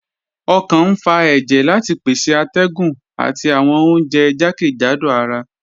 Ọkàn n fà èjẹ̀ láti pèsè àtẹ̀gùn àti awọn ọ̀unjẹ̀ jàkẹ́jádò àrà